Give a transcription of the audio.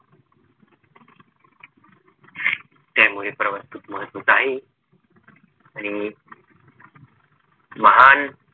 त्यामुळे प्रवास खूप महत्वाचा आहे आणि महान